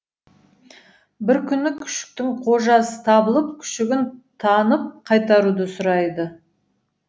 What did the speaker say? бір күні күшіктің қожасы табылып күшігін танып қайтаруды сұрайды